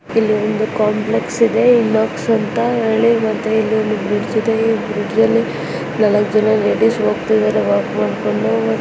ಇಲ್ಲಿ ಒಂದು ಕಾಂಪ್ಲೆಕ್ಸ್ಕ್ಸ್ ಇದೆ ಇನ್ನೂಕ್ಸ್ ಅಂತ ಮತ್ತೆ ಇಲ್ಲಿ ಒಂದು ಬ್ರಿಡ್ಜ್ ಇದೆ ಈ ಬ್ರಿಡ್ಜ್ ಅಲ್ಲಿ ನಾಲಕ್ಕ್ ಜನ ಲೇಡೀಸ್ ಹೋಗ್ತಾ ಇದಾರೆ ವಾಕ್ ಮಾಡ್ಕೊಂಡು.